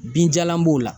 Binjalan b'o la